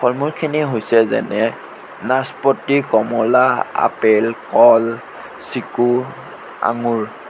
ফল-মূল খিনি হৈছে যেনে নাচপতি কমলা আপেল কল চিকো আঙুৰ।